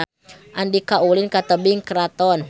Andika ulin ka Tebing Keraton